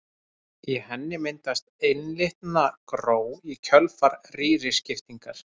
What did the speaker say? Í henni myndast einlitna gró í kjölfar rýriskiptingar.